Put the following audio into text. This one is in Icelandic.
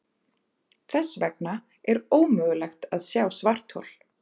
Þess vegna er ómögulegt að sjá svarthol.